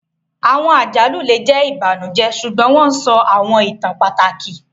Awọn àjálù le jẹ ibanujẹ, ṣugbọn wọn sọ awọn ìtàn pàtàkì